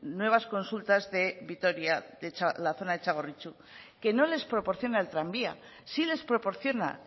nuevas consultas de vitoria de la zona de txagorritxu que no les proporciona el tranvía sí les proporciona